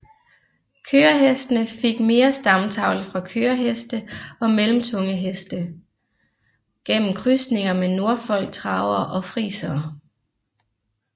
Kørehestene fik mere stamtavle fra køreheste og mellemtunge heste gennem krydsninger med Norfolktravere og Friesere